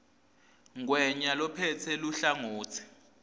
ngwenya lophetse luhlangotsi